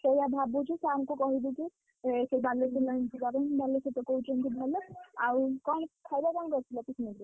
ସେଇଆ ଭାବୁଛୁ sir ଙ୍କୁ କହିବୁ କି ସେଇ ବାଲେଶ୍ୱର line ଯିବା ପାଇଁ ବାଲେଶ୍ୱରତ କହୁଛନ୍ତି ଭଲ, ଆଉ କଣ ଖାଇବା କଣ କରିଥିଲ picnic ରେ?